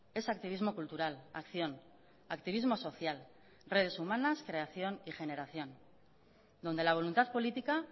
es activismo cultural acción activismo social redes humanas creación y generación donde la voluntad política